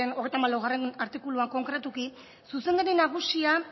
hogeita hamalau artikuluan konkretuki zuzendari nagusia